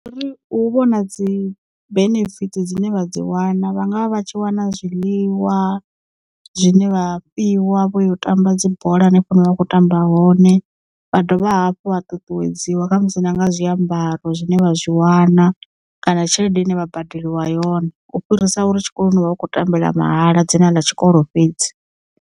Ri hu vhona dzi benefit dzine vha dzi wana vhanga vha vha tshi wana zwiḽiwa zwine vha fhiwa vhoyo u tamba dzibola hanefho hune vha vha kho tamba hone vha dovha hafhu vha ṱuṱuwedziwa khamusi nanga zwiambaro zwine vha zwi wana kana tshelede ine vha badeliwa yone u fhirisa uri tshikoloni u vha u khou tambela mahala dzina ḽa tshikolo fhedzi.